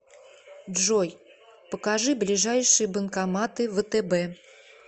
джой покажи ближайшие банкоматы втб